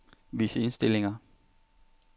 Vis indstillinger.